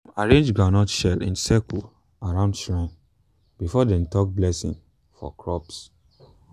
dem arrange groundnut shell in circle around shrine before dem talk blessing for crops.